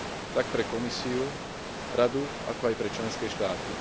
tak pre Komisiu, Radu, ako aj pre členské štáty.